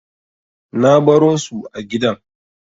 Na baro su a gidan.